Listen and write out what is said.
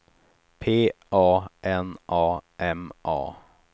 P A N A M A